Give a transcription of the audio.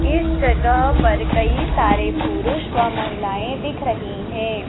इस जगह पर कही सारे पुरुष व महिलाएं दिख रही है।